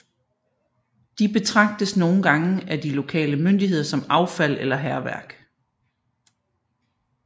De betragtes nogle gange af de lokale myndigheder som affald eller hærværk